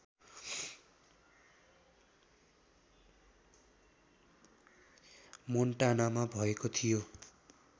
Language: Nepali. मोन्टानामा भएको थियो